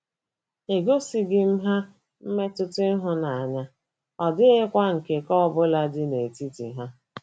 Egosịghị m ha mmetụta ịhụnanya, ọ dịghịkwa nkekọ ọ bụla dị n’etiti anyị. ”